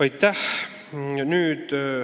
Aitäh!